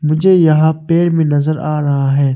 मुझे यहां पेड़ में नजर आ रहा है।